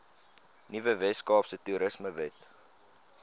nuwe weskaapse toerismewet